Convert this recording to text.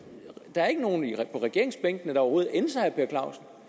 der er ikke nogen på regeringsbænkene der overhovedet ænser herre